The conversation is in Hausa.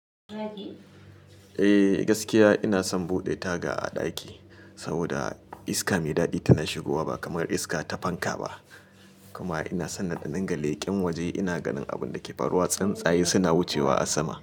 Eh gaskiya ina son buɗe taga a ɗaki saboda iska mai daɗi tana shigowa ba kamar iska ta fanka ba, kuma ina son in dinga leƙe waje ina ganin abun da ke faruwa, tsunsaye suna wucewa a sama.